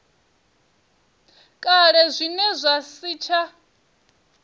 kale zwine zwa si tsha